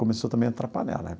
Começou também a atrapalhar, né?